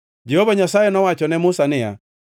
Jehova Nyasaye nowacho ne Musa niya,